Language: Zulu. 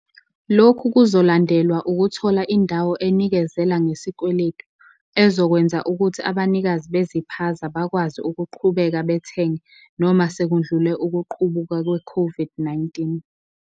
"Lokhu kuzolandelwa ukuthola indawo enikezela ngesikweletu ezokwenza ukuthi abanikazi beziphaza bakwazi ukuqhubeka bathenge, noma sekudlule ukuqubuka kwe-COVID-19."